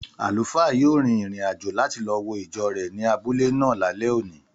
Àlùfáà yóò rin ìrìn-àjò láti lo wo ìjọ rẹ̀ ní abúlé náà lálẹ́ òní.